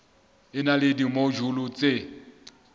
e na le dimojule tse